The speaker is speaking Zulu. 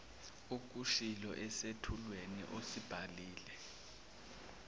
okushilo esethulweni osibhalile